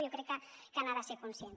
jo crec que n’ha de ser conscient